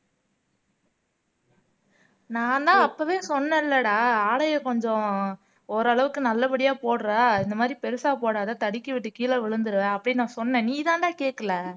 நான்தான் அப்பவே சொன்னேன்லடா ஆடையை கொஞ்சம் ஓரளவுக்கு நல்லபடியா போடுற இந்த மாதிரி பெருசா போடாத தடுக்கி விட்டு கீழே விழுந்துருவ அப்படின்னு நான் சொன்னேன் நீதான்டா கேட்கல